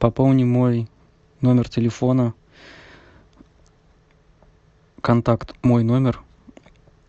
пополни мой номер телефона контакт мой номер